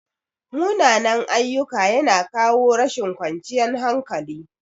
Munanan-ayyuka yana kawo rashin ƙwanciyan hankali.